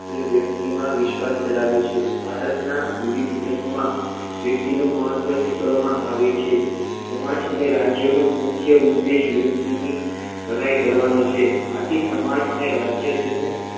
તે વ્યક્તિમાં વિશ્વાસ ધરાવે છે ભારતના વિવિધ ધર્મમાં વ્યક્તિનુ મહત્વ સ્વીકારવામાં આવે છે સમાજ અને રાજ્યોનું મુખ્ય ઉદ્દેશ વ્યક્તિની ભલાઈ કરવાનો છે આથી સમાજને રાજ્ય તેનું